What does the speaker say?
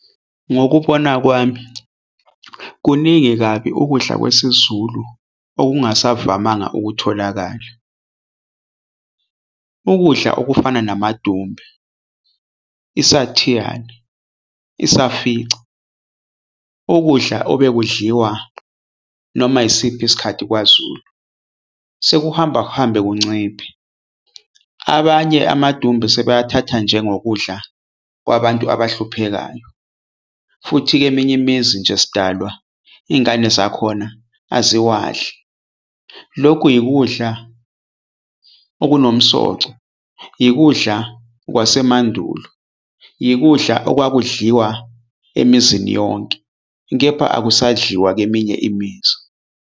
Ngokubona kwami, kuningi kabi ukudla kwesiZulu ongasavamanga ukutholakala ukudla okufana namadumbe, isathiyane, isafica. Ukudla obekudliwa noma isiphi isikhathi kwaZulu sekuhamba kuhambe kunciphe. Abanye amadumbe sebewathatha njengokudla kwabantu abahluphekayo futhi kweminye imizi nje sidalwa ingane zakhona aziwadli. Lokhu yikudla okunomsoco, yikudla kwasemandulo, yikudla okwakudliwa emizini yonke kepha akusadliwa kweminye imizi.